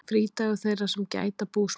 Frídagur þeirra sem gæta búsmala.